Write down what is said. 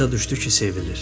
Başa düşdü ki, sevilir.